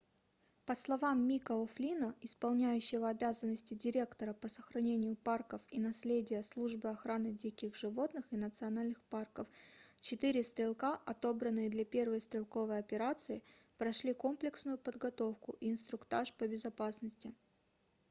по словам мика о'флинна исполняющего обязанности директора по сохранению парков и наследия службы охраны диких животных и национальных парков четыре стрелка отобранные для первой стрелковой операции прошли комплексную подготовку и инструктаж по безопасности